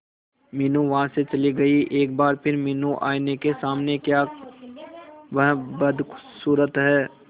मीनू वहां से चली गई एक बार फिर मीनू आईने के सामने क्या वह बदसूरत है